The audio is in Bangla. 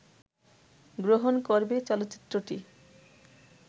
গ্রহণ করবে চলচ্চিত্রটি